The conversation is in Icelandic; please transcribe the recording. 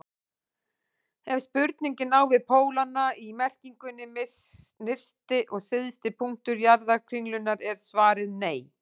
Ef spurningin á við pólana í merkingunni nyrsti og syðsti punktur jarðkringlunnar er svarið nei.